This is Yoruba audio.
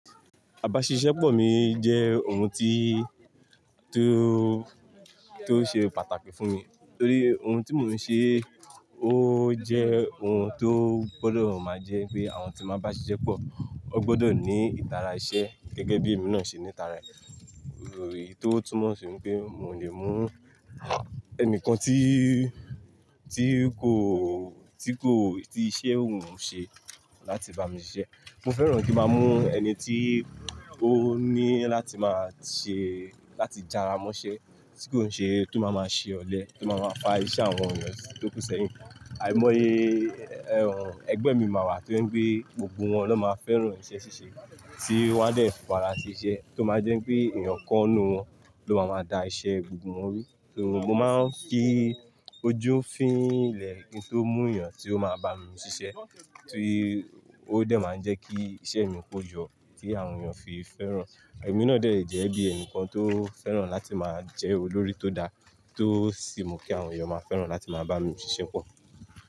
Àbáṣiṣẹ́pọ̀ mi jẹ́ ohun ti tó ṣe pàtàkì fún mi nítorí ohun tí mò ń ṣe ó jẹ́ ohun tó gbọdọ̀ máa jẹ́ pé àwọn tí máa bá mi ṣiṣẹ́ pọ̀, wọ́n gbọdọ̀ ní ìtara iṣẹ́ gẹ́gẹ́ bí èmi náà ṣe ní ìtara rẹ̀. Nítorí tó túmọ̀ sí pé mò lè mú ẹnìkan tí kò ti ko ti iṣẹ́ ohun ń ṣe láti bá mi ṣiṣẹ́. Mo fẹ́ràn kí máa mú ẹni tí ó ní láti máa ṣe láti jara mọ́ṣẹ́ tí kò ń ṣe, tó máa máa ṣe ọ̀lẹ, tó máa máa fa iṣẹ́ àwọn ènìyàn tó kúnsẹ́yìn. Àìmọye ẹgbẹ́ mi máa wà tí ó jé pe gbogbo wọn ló máa fẹ́ràn iṣẹ́ ṣíṣe tí wọ́n á dẹ̀ fi ara si ṣẹ́ tó máa jẹ́ pé èèyàn kọ́ n nu wọn ló máa ma dá iṣẹ́ gbogbo wọn ru. So, mo máa ń fí ojú fín ilẹ̀ kí n tó mú èyàn tí ó máa bá mi ṣiṣẹ́ torí ó dẹ̀ máa ń jẹ́ kí iṣẹ́ mi koyọ tí àwọn ènìyàn fi fẹ́ràn. Ẹ̀mí náà jẹ̀ yẹ bí ẹnìkan tó fẹ́ràn láti máa jẹ́ olórí tó dá tó sì mú kí àwọn ènìyàn máa fẹ́ràn láti máa bá mi ṣiṣẹ́ pọ̀